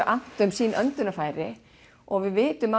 annt um sín öndunarfæri og við vitum